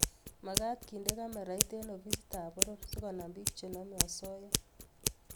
makat kendeni kamerait eng ofisit ap poror sikonam pik chenamei osoya